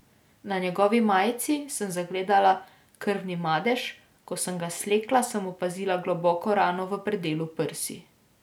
Na njegovi majici sem zagledala krvni madež, ko sem ga slekla, sem opazila globoko rano v predelu prsi.